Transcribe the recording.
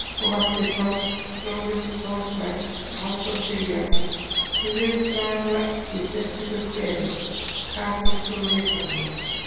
Og vakti skáldbróður Þórbergs, Halldór Kiljan, til viðbragða í sérstöku kveri: Kaþólskum viðhorfum.